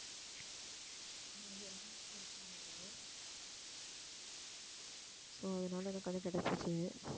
so அதனால எனக்கு வந்து கிடைச்சுச்சு